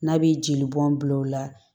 N'a bɛ jeli bɔn bil'o la